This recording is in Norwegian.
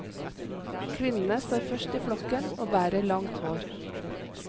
Kvinnene står først i flokken og bærer langt hår.